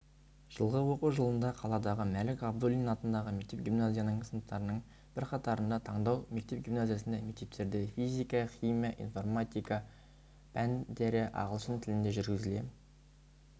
жылғы оқу жылында қаладағы мәлік ғабдуллин атындағы мектеп-гимназиясының сыныптарының бірқатарында таңдау мектеп-гимназиясында мектептерде физика химия информатика пәндері ағылшын тілінде жүргізіле